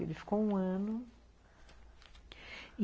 Ele ficou um ano...